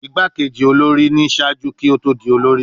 Igbakeji olori ni ṣaaju ki o to di olori